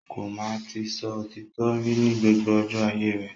Ko máa ti sọ òtítọ rí ní gbogbo ọjọ́ ayé rẹ̀.